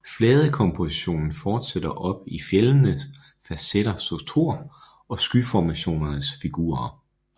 Fladekompositionen fortsætter op i fjeldenes facetterede struktur og skyformationernes figurer